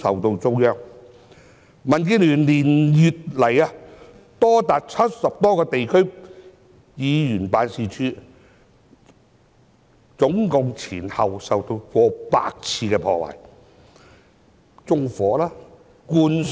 民主建港協進聯盟連月來有多達70個地區議員辦事處前後總共受到逾百次破壞，例如被縱火和灌水。